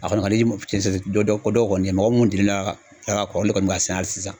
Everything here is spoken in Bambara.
A kɔni ka di cɛ si dɔ dɔ ko dɔ kɔni ye mɔgɔ mun delilen do ala ka kɔrɔ olu de kɔni b'a sɛnɛ ali sisan